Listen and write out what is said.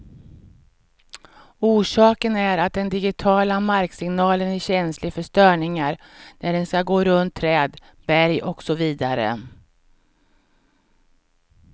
Orsaken är att den digitiala marksignalen är känslig för störningar när den skall gå runt träd, berg och så vidare.